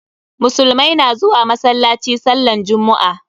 Musulumai na zuwa masallaci sallan jummu'a.